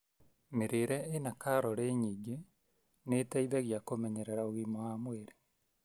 Mĩrĩre ĩna calorĩ nyĩngĩ nĩgũteithagia kũmenyerera ũritũ waĩ mwĩri.